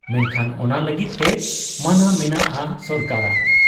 ᱢᱮᱱᱠᱷᱟᱱ ᱚᱱᱟ ᱞᱟᱹᱜᱤᱫ ᱛᱮ ᱢᱟᱱᱟ ᱢᱮᱱᱟᱜ ᱟ ᱥᱚᱨᱠᱟᱨᱟᱜ ᱾